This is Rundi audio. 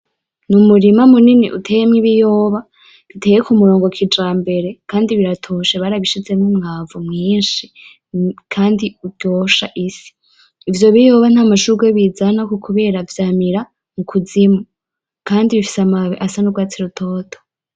Ni umurima munini uteyemwo ibiyoba uteye ku murugo kijambere kandi biratoshe birabishizemwo umwavu mwinshi kandi uryosha isi, ivyo biyoba nta mashurwe bizana kubera vyamira mu kuzimu kandi bifise amababi asa n'urwatsi rutoto.